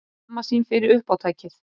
Skammast sín fyrir uppátækið.